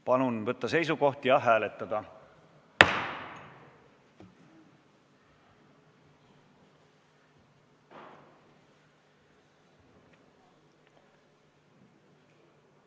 Palun võtta seisukoht ja hääletada!